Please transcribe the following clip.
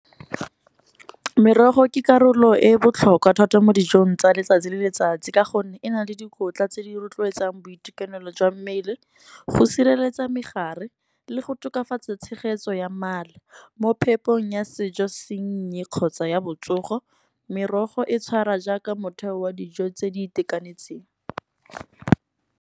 Merogo ke karolo e botlhokwa thata mo dijong tsa letsatsi le letsatsi. Ka gonne e na le dikotla tse di rotloetsang boitekanelo jwa mmele, go sireletsa megare le go tokafatsa tshegetso ya mala. Mo phepong ya sejo sennye kgotsa ya botsogo, merogo e tshwara jaaka motheo wa dijo tse di itekanetseng.